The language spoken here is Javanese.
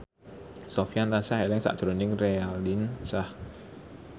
Sofyan tansah eling sakjroning Raline Shah